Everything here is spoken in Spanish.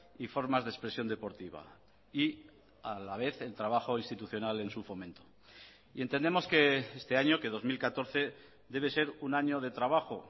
y formas de expresión deportiva y a la vez el trabajo institucional en su fomento y entendemos que este año que dos mil catorce debe ser un año de trabajo